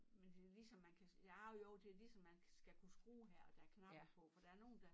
Men det ligesom man kan nej jo det ligesom man kan skal kunne skrue her og der er knap på for der er nogen der